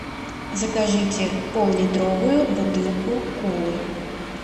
закажите поллитровую бутылку колы